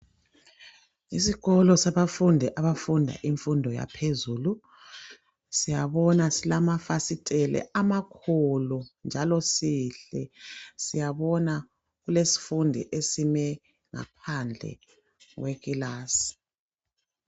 Isikolo sabafundi abafunda imfundo yaphezulu. Siyabona silamafasitela amakhulu njalo sihle, siyabona kulesifundi esime ngaphandle kwekilasi.